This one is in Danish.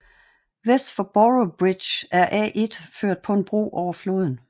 Vest for Boroughbridge er A1 ført på en bro over floden